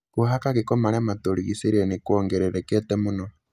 Kũhaka gĩko marĩa matũrigicĩirie nĩ kuongererekete mũno,